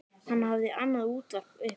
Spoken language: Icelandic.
Hann hafði annað útvarp uppi.